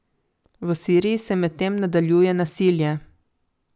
V Siriji se medtem nadaljuje nasilje.